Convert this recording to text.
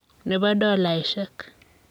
ne bo dolaishek.